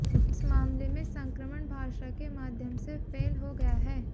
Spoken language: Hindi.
इस मामले में संक्रमण भाषा के माध्यम से फैल गया है